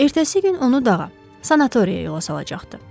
Ertəsi gün onu dağa, sanatoriyaya yola salacaqdı.